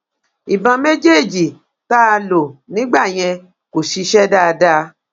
ìbọn méjèèjì tá a lò nígbà yẹn kò ṣiṣẹ dáadáa